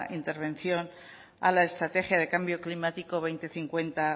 intervención a la estrategia del cambio climático dos mil cincuenta